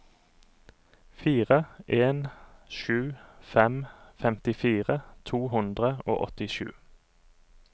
fire en sju fem femtifire to hundre og åttisju